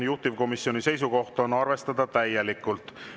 Juhtivkomisjoni seisukoht on arvestada täielikult.